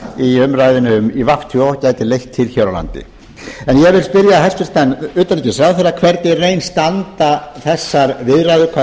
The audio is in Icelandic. í umræðunni í svo gæti leitt til hér á landi ég vil spyrja hæstvirtan utanríkisráðherra hvernig í raun standa þessar viðræður